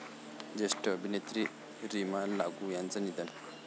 ज्येष्ठ अभिनेत्री रीमा लागू यांचं निधन